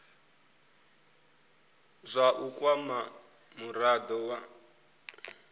zwa u kwama murado wa